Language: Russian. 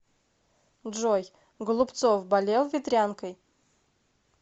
джой голубцов болел ветрянкой